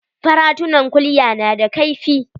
Faratunan kulya na da kaifi.